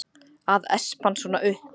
Að espa hann svona upp!